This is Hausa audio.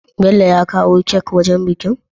Bello ya kawo kek wajan bikin?